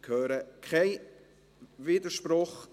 – Ich höre keinen Widerspruch.